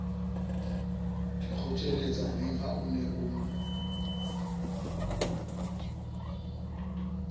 dikgotjheletsaneng ha o ne o